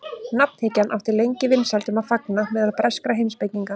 Nafnhyggjan átti lengi vinsældum að fagna meðal breskra heimspekinga.